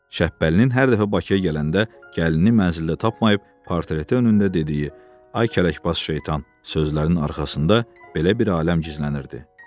Şəhbəlinin hər dəfə Bakıya gələndə gəlinini mənzildə tapmayıb, portreti önündə dediyi "Ay kələkbaz şeytan" sözlərinin arxasında belə bir aləm gizlənirdi.